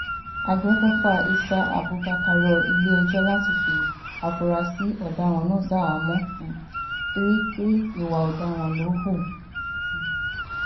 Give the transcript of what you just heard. àgbẹ̀fọ́fà issa abubakar rọ ilé-ẹjọ́ láti fi àfúráṣí ọ̀daràn náà ṣaháàmọ̀ um torí pé ìwà ọ̀daràn ló hù um